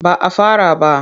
Ba a fara ba.